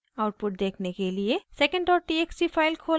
output देखने के लिए secondtxt फाइल खोलें